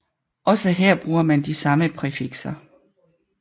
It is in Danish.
Også her bruger man de samme præfixer